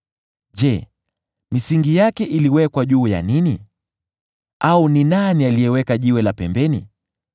Je, misingi yake iliwekwa juu ya nini, au ni nani aliyeweka jiwe la pembeni,